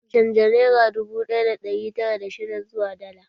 Canja nera dubu ɗaya da ɗari tara da shidda zuwa dala